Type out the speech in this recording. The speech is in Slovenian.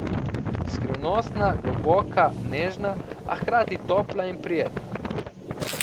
Skrivnostna, globoka, nežna, a hkrati topla in prijetna.